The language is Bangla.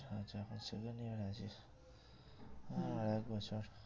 আচ্ছা এখন second year এ আছিস আর এক বছর